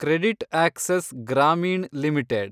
CreditAccess Grameen limited